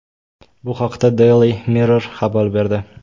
Bu haqda Daily Mirror xabar berdi .